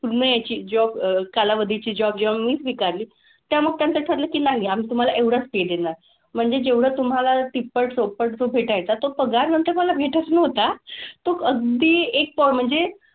पूर्ण ह्याची job अह कालावधीची job जेव्हा मी स्वीकारली तेव्हा मग त्यांचं ठरलं की नाही आम्ही तुम्हाला एवढंच पे देणार. म्हणजे जेवढं तुम्हाला तिप्पट, चौपट जो भेटायचा तो पगार नंतर मला भेटत नव्हता. तो अगदी एक म्हणजे,